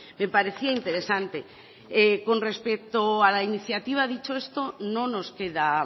me parecía interesante con respecto a la iniciativa dicho esto no nos queda